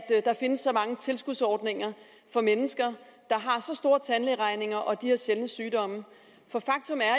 der findes så mange tilskudsordninger for mennesker der har så store tandlægeregninger og de her sjældne sygdomme for faktum er